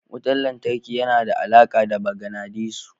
Wutar lantarki yana da alaƙa da maganadisu.